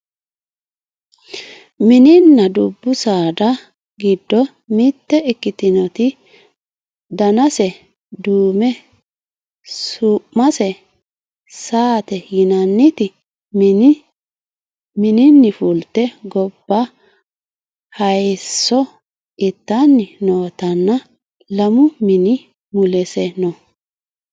mininna dubbu saada giddo mitte ikkitinoti danase duume su'mase saate yianniti mininni fulte gobba hayeesso ittanni noootanna lamu mini mulese no